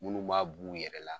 Munnu b'a b'u yɛrɛ la